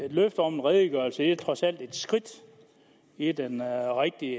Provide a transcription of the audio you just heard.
et løfte om en redegørelse er trods alt et skridt i den rigtige